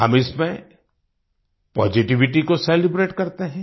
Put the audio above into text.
हम इसमें पॉजिटिविटी को सेलिब्रेट करते हैं